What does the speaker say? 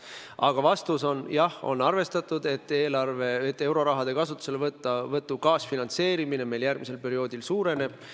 Aga vastus on: jah, on arvestatud, et euroraha kasutuselevõtu kaasfinantseerimine meil järgmisel perioodil suureneb.